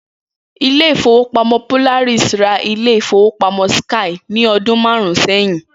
Ilé ìfowópamó̩ Polaris ra ilé ìfowópamó̩ síkáì ní o̩dún márùn-ún sé̩yìn